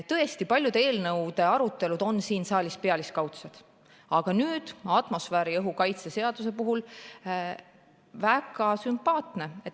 Tõesti, paljude eelnõude arutelud on siin saalis pealiskaudsed, aga nüüd atmosfääriõhu kaitse seaduse puhul oli arutelu väga sümpaatne.